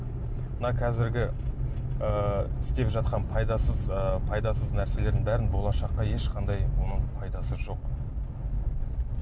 мына қазіргі ыыы істеп жатқан пайдасыз ы пайдасыз нәрселердің бәрінің болашаққа ешқандай мұның пайдасы жоқ